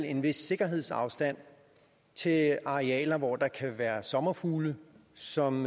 en vis sikkerhedsafstand til arealer hvor der kan være sommerfugle som